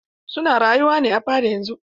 Su na rayuwa ne a fada yanzun.